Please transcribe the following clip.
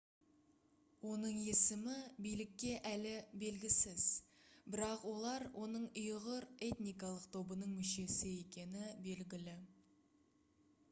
оның есімі билікке әлі белгісіз бірақ олар оның ұйғыр этникалық тобының мүшесі екені белгілі